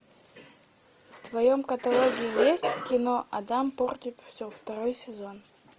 в твоем каталоге есть кино адам портит все второй сезон